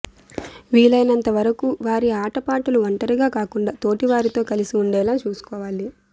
వీలైనంతవరకూ వారి ఆటపాటలు ఒంటరిగా కాకుండా తోటివారితో కలిసి ఉండేలా చూసుకోవాలి